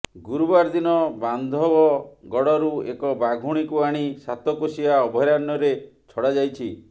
ଗୁରୁବାର ଦିନ ବାନ୍ଧବଗଡରୁ ଏକ ବାଘୁଣୀକୁ ଆଣି ସାତକୋଶିଆ ଅଭୟାରଣ୍ୟରେ ଛଡାଯାଇଛି